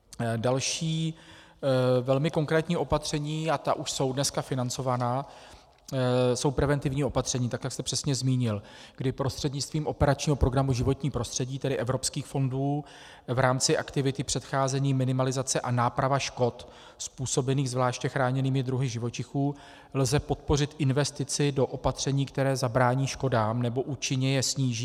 Další velmi konkrétní opatření, a ta už jsou dnes financována, jsou preventivní opatření, tak jak jste přesně zmínil, kdy prostřednictvím operačního programu Životní prostředí, tedy evropských fondů, v rámci aktivity předcházení, minimalizace a náprava škod způsobených zvláště chráněnými druhy živočichů lze podpořit investici do opatření, která zabrání škodám nebo účinně je sníží.